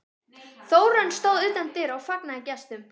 Þórunn stóð utan dyra og fagnaði gestum.